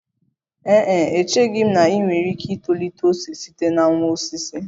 Ee e, echeghị m na ị nwere ike itolite ose site na nwa osisi